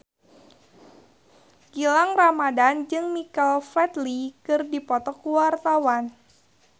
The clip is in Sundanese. Gilang Ramadan jeung Michael Flatley keur dipoto ku wartawan